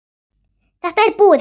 Þetta er búið, Hemmi.